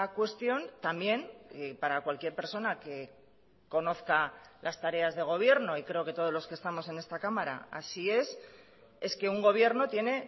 cuestión también para cualquier persona que conozca las tareas de gobierno y creo que todos los que estamos en esta cámara así es es que un gobierno tiene